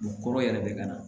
U kɔrɔ yɛrɛ bɛ ka na